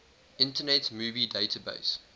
internet movie database